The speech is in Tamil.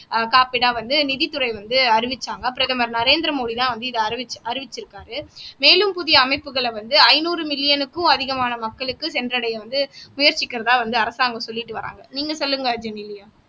காப்பீடா வந்து நிதித்துறை வந்து அறிவிச்சாங்க பிரதமர் நரேந்திர மோடிதான் வந்து இத அறி அறிவிச்சிருக்காரு மேலும் புதிய அமைப்புகளை வந்து ஐநூறு மில்லியனுக்கும் அதிகமான மக்களுக்கு சென்றடைய வந்து முயற்சிக்கிறதா வந்து அரசாங்கம் சொல்லிட்டு வர்றாங்க நீங்க சொல்லுங்க ஜெனிலியா